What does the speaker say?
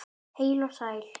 Heil og sæl!